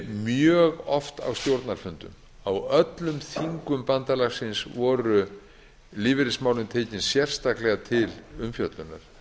mjög oft á stjórnarfundum á öllum þingum bandalagsins voru lífeyrismálin tekin sérstaklega til umfjöllunar